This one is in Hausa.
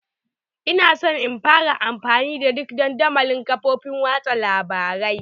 Ina so in fara amfani da duk dandamalin kafofin watsa labarai